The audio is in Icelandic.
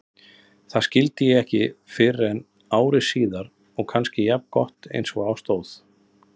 Það skildi ég ekki fyrren ári síðar og var kannski jafngott einsog á stóð.